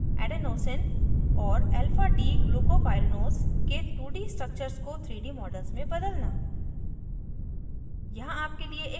* alanine adenosine और alphadglucopyranose के 2d structures को 3d models में बदलना